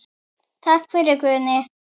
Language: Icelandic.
Takk fyrir, Guðni.